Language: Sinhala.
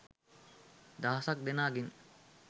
දහසක් දෙනා ගෙන්